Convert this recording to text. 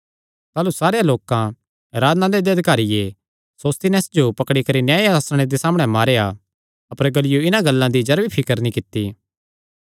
ताह़लू सारेयां लोकां आराधनालय दे अधिकारिये सोस्थिनेस जो पकड़ी करी न्याय आसण दे सामणै मारेया अपर गल्लियो इन्हां गल्लां दी जरा भी फिकर नीं कित्ती